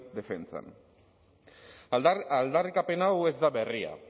defentsan aldarrikapen hau ez da berria